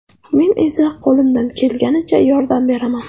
Men esa qo‘limdan kelganicha yordam beraman.